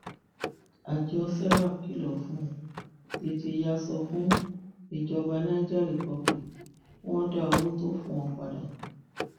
àjọ serap kìlọ fún tètè yàà sọ fún ìjọba niger republic kí wọn dá owó tó o fún wọn padà